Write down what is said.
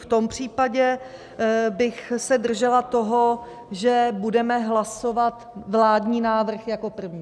V tom případě bych se držela toho, že budeme hlasovat vládní návrh jako první.